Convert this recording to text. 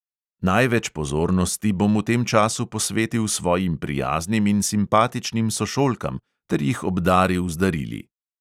Največ pozornosti bom v tem času posvetil svojim prijaznim in simpatičnim sošolkam ter jih obdaril z darili.